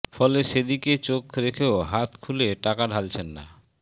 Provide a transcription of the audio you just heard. ফলে সে দিকে চোখ রেখেও হাত খুলে টাকা ঢালছেন না